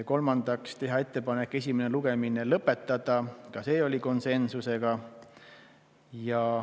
Kolmandaks tehti ettepanek esimene lugemine lõpetada, ka see oli konsensusega.